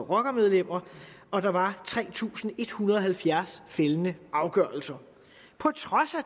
rockermedlemmer og at der var tre tusind en hundrede og halvfjerds fældende afgørelser på trods af